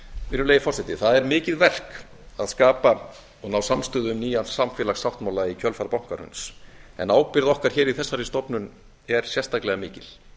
virðulegi forseti það er mikið verk að skapa og ná samstöðu um nýjan samfélagssáttmála í kjölfar bankahruns en ábyrgð okkar hér í þessara stofnun er sérstaklega mikil